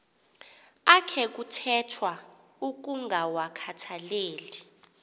akhe kuthethwa ukungawakhathaleli